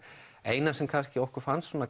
eina sem okkur fannst